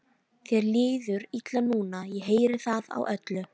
Þér líður illa núna, ég heyri það á öllu.